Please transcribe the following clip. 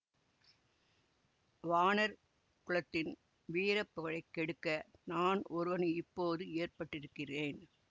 வாணர் குலத்தின் வீர புகழை கெடுக்க நான் ஒருவன் இப்போது ஏற்பட்டிருக்கிறேன்